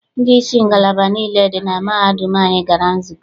Ndị isi ngalaba niile dị na mahadum anyị gara nzukọ.